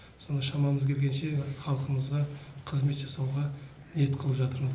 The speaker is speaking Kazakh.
соны шамамыз келгенше халқымызға қызмет жасауға ниет қылып жатырмыз